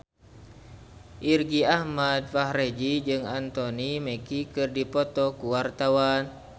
Irgi Ahmad Fahrezi jeung Anthony Mackie keur dipoto ku wartawan